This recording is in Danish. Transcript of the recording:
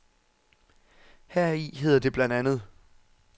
Heri hedder det blandt andet.